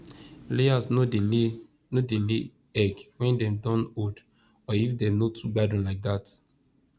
layers no dey lay no dey lay egg when dem don old or if dem no toogbadun like that